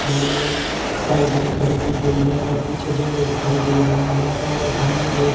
गाड़ी साइड में खड़ी की गई है और पीछे जंगल दिखाई दे रही हैं और सामने एक--